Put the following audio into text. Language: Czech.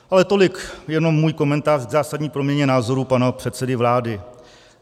Ale tolik jenom můj komentář k zásadní proměně názorů pana předsedy vlády.